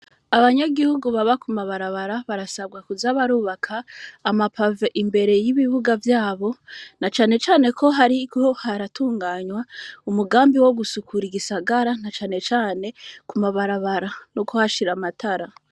abanyagihugu baba ku mabarabara barasabwa kuza barubaka amapave imbere y'ibibuga vyabo, na cane cane ko hariko haratunganwa umugambi wo gusukura igisagara nka cane cane ku mabarabara no kuhashira amatara.